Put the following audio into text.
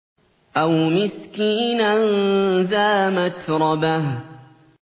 أَوْ مِسْكِينًا ذَا مَتْرَبَةٍ